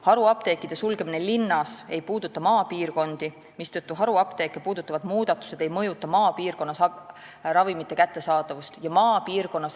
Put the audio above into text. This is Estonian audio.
Haruapteekide sulgemine linnas ei puuduta maapiirkondi, mistõttu haruapteeke puudutavad muudatused ei mõjuta ravimite kättesaadavust maapiirkonnas.